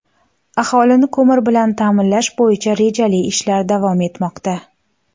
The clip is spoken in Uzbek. Aholini ko‘mir bilan ta’minlash bo‘yicha rejali ishlar davom etmoqda.